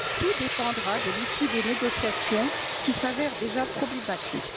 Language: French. Tout dépendra de l'issue des négociations, qui s'avère déjà problématique.